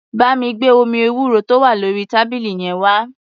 Bá mi gbé omi ewúro tó wà lórí tábìlì yẹn wá.